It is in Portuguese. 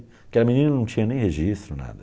Aquela menina não tinha nem registro, nada.